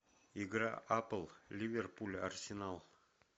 игра апл ливерпуль арсенал